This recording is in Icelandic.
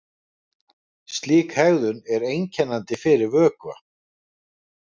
Slík hegðun er einkennandi fyrir vökva.